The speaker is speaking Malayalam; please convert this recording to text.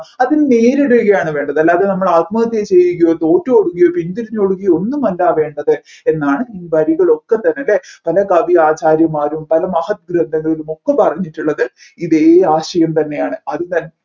അതിനെ നേരിടുകയാണ് വേണ്ടത് അല്ലാതെ നമ്മൾ ആത്മഹത്യ ചെയ്യുകയോ തോറ്റൊടുകയോ പിന്തിരിഞ്ഞ് ഓടുകയോ ഒന്നും ആല്ല വേണ്ടത് എന്നാണ് ഈ വരികളൊക്കെ തന്നെ അല്ലെ പല കവി ആചാര്യന്മാരും പല മഹത് ഗ്രന്ഥങ്ങളിലുമൊക്കെ പറഞ്ഞിട്ടുള്ളത് ഇതേ ആശയം തന്നെയാണ്